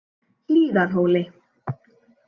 Hlíðarhóli